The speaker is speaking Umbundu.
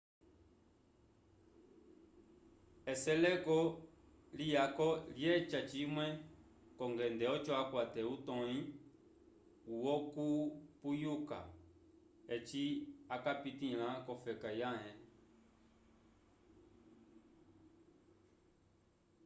eseleko liyako lyeca cimwe k'ongende oco akwate utõyi wokupuyuka eci akapitĩla k'ofeka yãhe